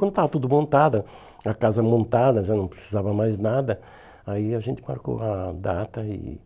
Quando estava tudo montada, a casa montada, já não precisava mais nada, aí a gente marcou a data e